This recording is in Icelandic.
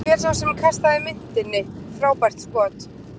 Hver sá sem kastaði myntinni, frábært skot!